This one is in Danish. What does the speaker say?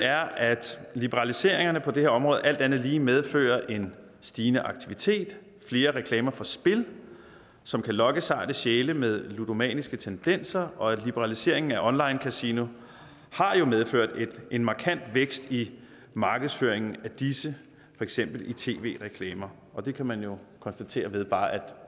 er at liberaliseringerne på det her område alt andet lige medfører en stigende aktivitet og flere reklamer for spil som kan lokke sarte sjæle med ludomaniske tendenser og liberaliseringen af online kasino har jo medført en markant vækst i markedsføringen af disse for eksempel i tv reklamer og det kan man jo konstatere ved bare at